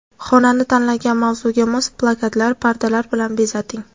Xonani tanlangan mavzuga mos plakatlar, pardalar bilan bezating.